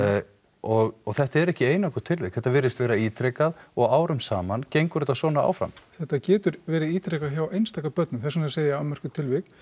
og þetta eru ekki einangruð tilvik þetta virðist vera ítrekað og árum saman gengur þetta svona áfram þetta getur verið ítrekað hjá einstaka börnum þess vegna segi ég afmörkuð tilvik